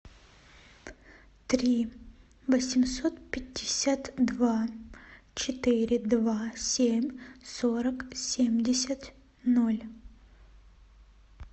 три восемьсот пятьдесят два четыре два семь сорок семьдесят ноль